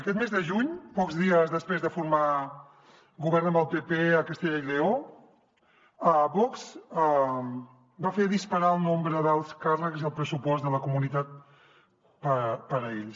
aquest mes de juny pocs dies després de formar govern amb el pp a castella i lleó vox va fer disparar el nombre d’alts càrrecs i el pressupost de la comunitat per a ells